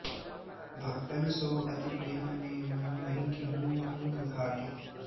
भक्तन सों अति प्रेम नेम नहिं किहुँ अँग घाटी